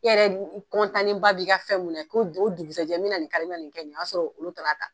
I yɛrɛ b'i ka fɛn minɛ ko do o dugusajɛ mina nin k'a la, mina nin kɛ nin ye, o y'a sɔrɔ olu taala ta.